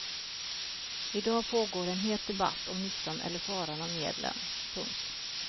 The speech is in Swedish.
I dag pågår en het debatt om nyttan eller faran av medlen. punkt